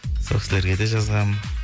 сол кісілерге де жазғам